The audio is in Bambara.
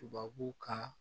Tubabu kan